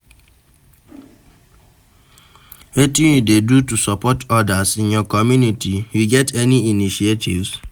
Wetin you dey do to support odas in your community, you get any initiatives?